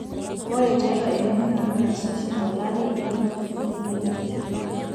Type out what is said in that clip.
ore tiatua elimunoto naasi oshi tolarri ilo turrur lebiotishu